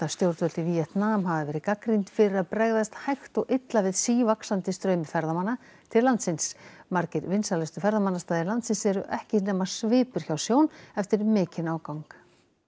stjórnvöld í Víetnam hafa verið gagnrýnd fyrir að bregðast hægt og illa við sívaxandi straumi ferðamanna til landsins margir vinsælustu ferðamannastaðir landsins eru ekki nema svipur hjá sjón eftir mikinn ágang